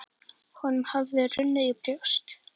Honum hafði runnið í brjóst.